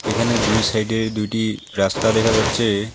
এখানে দুই সাইডে দুইটি রাস্তা দেখা যাচ্ছে।